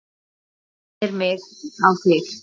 Allt minnir mig á þig.